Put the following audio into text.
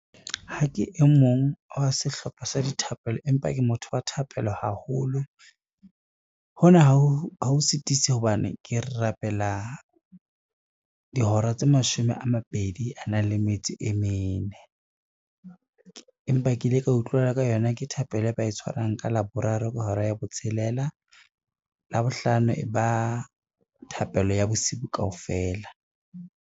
Ha ke e mong wa sehlopha sa dithapelo empa ke motho wa thapelo haholo. Hona ha o sitise hobane ke rapela dihora tse mashome a mabedi a na le metso e mene, empa ke ile ka utlwela ka yona ke thapelo e ba e tshwarang ka Laboraro ka hora ya botshelela. Labohlano e ba thapelo ya bosibu kaofela.